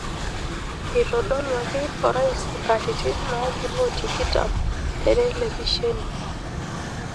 Eitodoluaki orais katitin naagiro tikitim tetelipeshine.